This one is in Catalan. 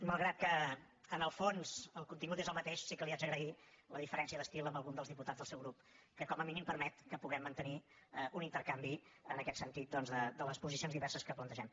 malgrat que en el fons el contingut és el mateix sí que li haig d’agrair la diferència d’estil amb algun dels diputats del seu grup que com a mínim permet que puguem mantenir un intercanvi en aquest sentit doncs de les posicions diverses que plantegem